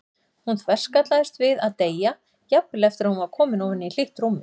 Hún þverskallaðist við að deyja, jafnvel eftir að hún var komin ofan í hlýtt rúmið.